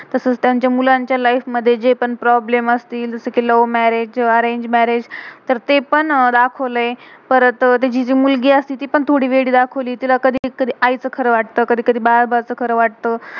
तसच त्यांच्या मुलांच्या लाइफ life मधे जे पण प्रॉब्लम problem आस्तील, जसं कि love marriage love-marraige, arrange marriage arrangemarraige तर ते पण दाखवलय. परत तेची जे मुलगी असती, ती पण थोड़ी वेडी दाखवली. तिला कधी कधी आई चं खरा वाटतं, कधी कधी बाळ-बा चं खरं वाटतय.